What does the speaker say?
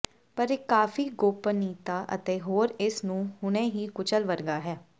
ਪਰ ਇੱਕ ਕਾਫ਼ੀ ਗੋਪਨੀਯਤਾ ਅਤੇ ਹੋਰ ਇਸ ਨੂੰ ਹੁਣੇ ਹੀ ਕੁਚਲ ਵਰਗਾ ਹੈ